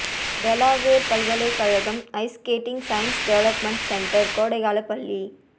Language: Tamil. டெலாவேர் பல்கலைக்கழகம் ice skating science development centre கோடைக்காலப் பள்ளி